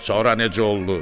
Sonra necə oldu?